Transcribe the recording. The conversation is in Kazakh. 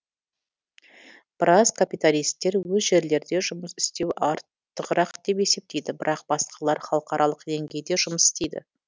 біраз капиталисттер өз жерлерде жұмыс істеу артығырақ деп есептейді бірақ басқалар халықаралық деңгейде жұмыс істейді